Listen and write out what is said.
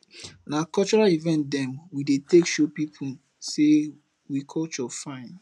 na cultural event dem we dey take show pipu sey we culture fine